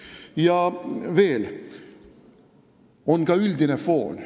Ja veel, on ka üldine foon.